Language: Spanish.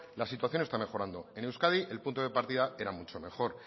la situación está mejorando en euskadi el punto de partida era muchos mejor